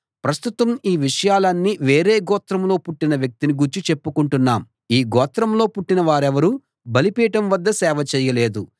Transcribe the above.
ప్రస్తుతం ఈ విషయాలన్నీ వేరే గోత్రంలో పుట్టిన వ్యక్తిని గూర్చి చెప్పుకుంటున్నాం ఈ గోత్రంలో పుట్టిన వారిెవరూ బలిపీఠం వద్ద సేవ చేయలేదు